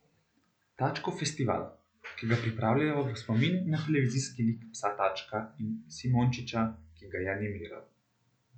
Tačkov festival, ki ga pripravljajo v spomin na televizijski lik psa Tačka in Simončiča, ki ga je animiral.